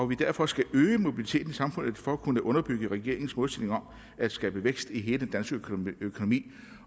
vi derfor skal øge mobiliteten i samfundet for at kunne underbygge regeringens målsætning om at skabe vækst i hele den danske økonomi